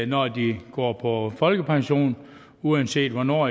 når de går på folkepension uanset hvornår